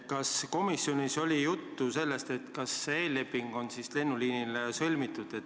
Kas komisjonis oli juttu sellest, kas lennuliini käsitlevad eellepingud on sõlmitud?